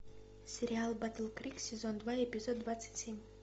сериал батл крик сезон два эпизод двадцать семь